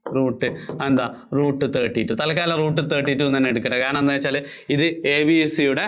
root അതെന്താ root thirty two തത്കാലം root thirty two എന്ന് തന്നെ കിടക്കട്ടെ. കാരണം എന്താന്നുവച്ചാല് ഇത് ABC യുടെ